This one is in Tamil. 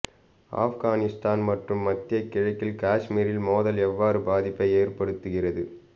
ஆப்கானிஸ்தான் மற்றும் மத்திய கிழக்கில் காஷ்மீரில் மோதல் எவ்வாறு பாதிப்பை ஏற்படுத்துகிறது